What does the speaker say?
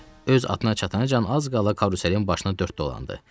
Öz atına çatanacan az qala karuselin başına dörd dolandı.